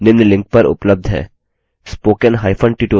इस mission पर अधिक जानकारी निम्न लिंक पर उपलब्ध है